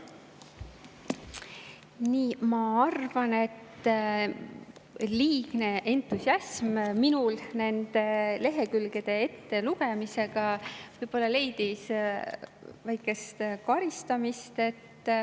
Ma arvan, minu liigne entusiasm nende lehekülgede ettelugemisel võib-olla leidis väikest karistamist.